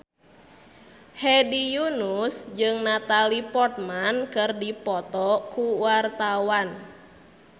Hedi Yunus jeung Natalie Portman keur dipoto ku wartawan